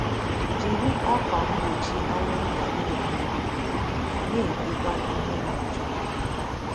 Jiri ákwà mgbochi anwụnta na - ehi ụra, na - etekwa ihe na - achụ ha.